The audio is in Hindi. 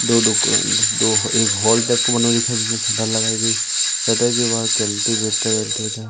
दो दुकान दो एक हॉल टाइप का बना हुआ दिखाई जिसमें शटर के बाहर कल्टीवेटर --